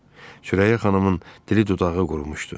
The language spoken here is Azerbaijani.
Sürəyyə xanımın dili dodağı qurumuşdu.